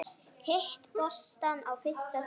Hitta boltann á fyrsta teig.